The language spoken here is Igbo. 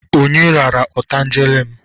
Onye rara otangele m?